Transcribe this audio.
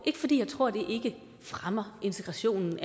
ikke fordi jeg tror det ikke fremmer integrationen